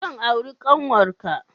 Zan auri ƙanwarka.